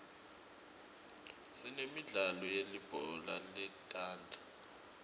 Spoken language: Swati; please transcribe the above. sinemidlalo yelibhola letandla